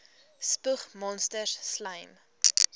spoeg monsters slym